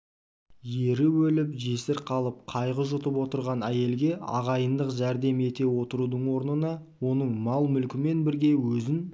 ері өліп жесір қалып қайғы жұтып отырған әйелге ағайындық жәрдем ете отырудың орнына оның мал-мүлкімен бірге өзін